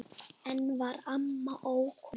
Enn var amma ókomin.